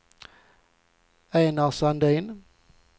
Enar Sandin